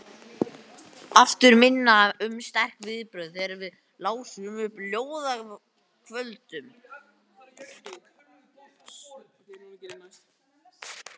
Aftur minna um sterk viðbrögð þegar við lásum upp á ljóðakvöldum.